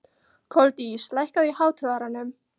Koldís, lækkaðu í hátalaranum.